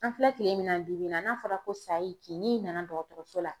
An filɛ tile min na bi bi in na ,n'a fɔra ko sayi kin, n'i nana dɔgɔtɔrɔso la